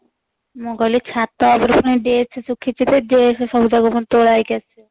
ମୁଁ କହିଲି ଛାତ ଉପରେ ପୁଣି dress ଶୁଖିଛି ଯେ dress ସବୁଯାକ ପୁଣି ତୋଳା ହେଇକି ଆସିବ